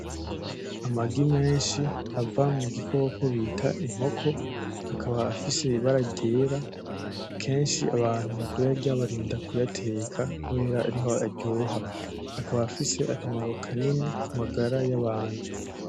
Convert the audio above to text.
Amagi menshi ava mu gikoko bita inkoko akaba afise ibara ryera kenshi abantu mu kuyarya barinda kuyateka kubera ariho aryoha, akaba afise akamaro kanini ku magara y'abantu.